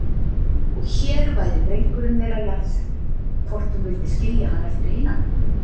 Og hér væri drengurinn þeirra jarðsettur, hvort hún vildi skilja hann eftir einan?